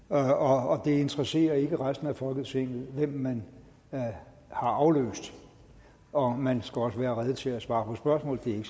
og det interesserer ikke resten af folketinget hvem man har afløst og man skal også være rede til at svare på spørgsmål det er